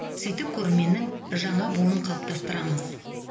сөйтіп көрерменнің жаңа буынын қалыптастырамыз